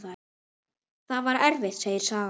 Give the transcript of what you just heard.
Það var erfitt, segir sagan.